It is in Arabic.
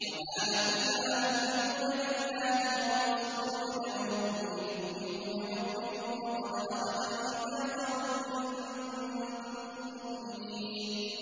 وَمَا لَكُمْ لَا تُؤْمِنُونَ بِاللَّهِ ۙ وَالرَّسُولُ يَدْعُوكُمْ لِتُؤْمِنُوا بِرَبِّكُمْ وَقَدْ أَخَذَ مِيثَاقَكُمْ إِن كُنتُم مُّؤْمِنِينَ